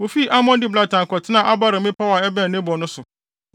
Wofii Almon Diblataim kɔtenaa Abarim mmepɔw a ɛbɛn Nebo no so.